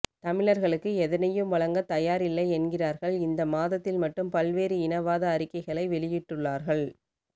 தமிழ்ர்களுக்கு எதனையும் வழங்க தயார் இல்லை என்கிறார்கள் இந்த மாதத்தில் மட்டும் பல்வேறு இன வாத அறிக்கைகளை வெளியிட்டுள்ளார்கள்